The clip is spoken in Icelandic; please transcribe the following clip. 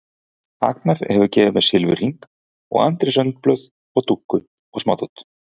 Agnar hefur gefið mér silfurhring og Andrés önd blöð og dúkku og smádót.